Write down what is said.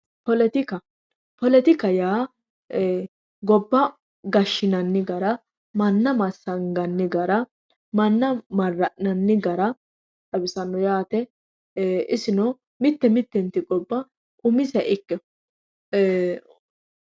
Poletikka, poletikka yaa e"e gobba gashinanni gara manna massaganni gara manna mara'nanni gara xawisano yaate isino mite miteti gobba umiseha ikkinoha e"e..